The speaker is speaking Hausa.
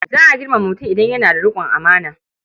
Za a girmama mutum idan yana da riƙon amana.